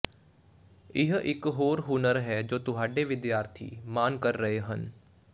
ਇਹ ਇਕ ਹੋਰ ਹੁਨਰ ਹੈ ਜੋ ਤੁਹਾਡੇ ਵਿਦਿਆਰਥੀ ਮਾਣ ਕਰ ਰਹੇ ਹਨ